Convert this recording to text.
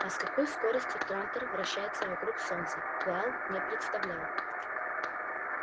а с какой скоростью трантор вращается вокруг солнца гаал не представлял